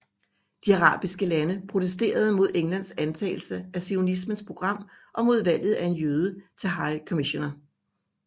De arabisk talende protesterede mod Englands antagelse af zionismens program og mod valget af en jøde til High Commissioner